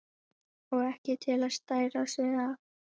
Og ekki til að stæra sig af!